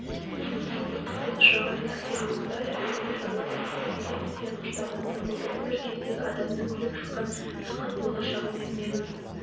менің албырттықпен ұшыраған сәтсіздіктерімнің бәрі әлемді шарлап кеземін деген құштарлығымнан болды бір кездегі алдымнан күліп шыққан жарқын болашағым мен